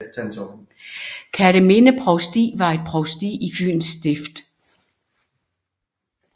Kerteminde Provsti var et provsti i Fyens Stift